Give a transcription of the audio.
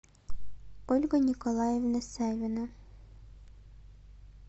ольга николаевна савина